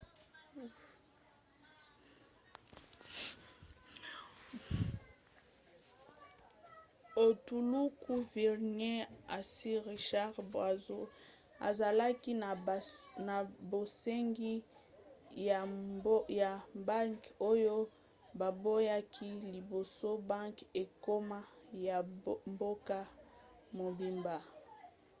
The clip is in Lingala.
etuluku virgin ya sir richard branson azalaki na bosengi ya banke oyo baboyaki liboso banke ekoma ya mboka mobimba